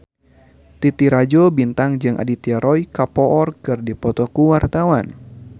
Titi Rajo Bintang jeung Aditya Roy Kapoor keur dipoto ku wartawan